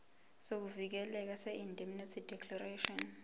sokuvikeleka seindemnity declaration